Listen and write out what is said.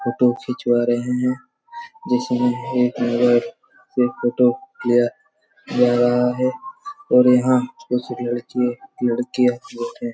Photo खिंचवा रहे हैं जिसमें हैं इनलोग क्लियर फोटो जरा लिया जा रहा है पर यहाँ कुछ लकड़े लड़की बैठे हैं।